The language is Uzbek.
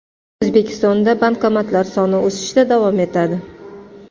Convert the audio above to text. O‘zbekistonda bankomatlar soni o‘sishda davom etadi.